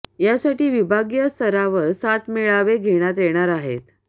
यासाठी विभागीय स्तरावर सात मेळावे घेण्यात येणार आहेत